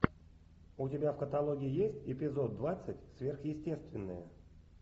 у тебя в каталоге есть эпизод двадцать сверхъестественное